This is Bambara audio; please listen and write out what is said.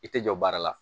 I tɛ jɔ baara la